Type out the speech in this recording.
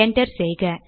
enter செய்க